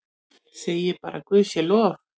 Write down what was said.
Segi bara guði sé lof.